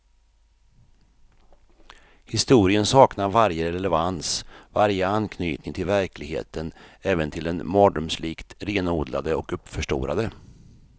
Historien saknar varje relevans, varje anknytning till verkligheten, även till den mardrömslikt renodlade och uppförstorade.